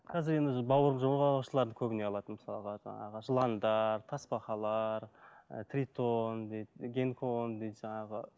қазір енді жорғалаушыларды көбіне алады мысалға жаңағы жыландар тасбақалар ы тритон дейді гинкон дейді жаңағы